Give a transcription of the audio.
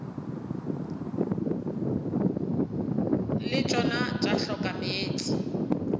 le tšona tša hloka meetse